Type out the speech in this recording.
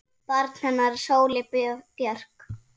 Barn hennar er Sóley Björk.